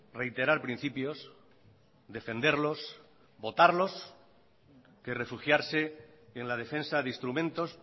reiterar principios defenderlos votarlos que refugiarse en la defensa de instrumentos